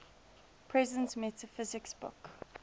presence metaphysics book